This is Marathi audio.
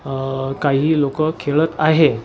अ काही लोकं खेळत आहेत.